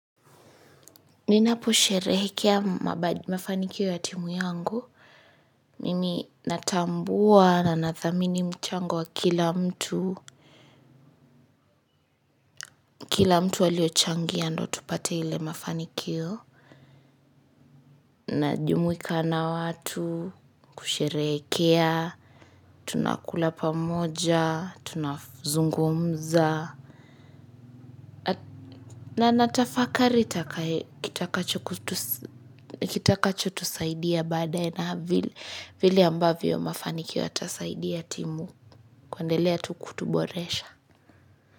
Ninaposherehekea mafanikio ya timu yangu. Mimi natambua na nathamini mchango wa kila mtu. Kila mtu aliyochangia ndio tupate ile mafanikio. Najumuika na watu, kusherehekea, tunakula pamoja, tunazungumza. Na natafakari kitakachotusaidia baadaye na vile ambavyo mafanikio yatasaidia timu. Kuendelea tu kutuboresha.